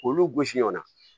K'olu gosi ɲɔgɔn na